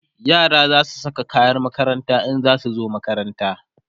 yara zasu Saka kayan makaranta in zasu zo makaranta